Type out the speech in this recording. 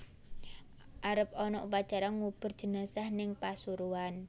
Arep ana upacara ngubur jenazah ning Pasuruan